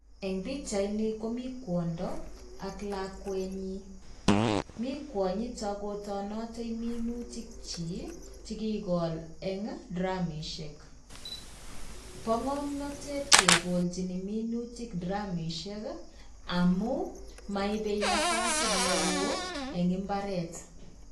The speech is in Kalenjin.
En pichaini komii kwondo ak lakwenyin mi kwonyiton kotonote minutik chik chekikol en dramishek, bo ngomnotet kekolchin minutik dramishek amun moibe nafasit neo en imbaret.